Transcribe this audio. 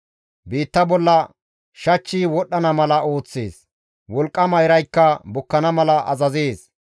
Biitta bolla shachchi wodhdhana mala ooththees; wolqqama iraykka bukkana mala azazees.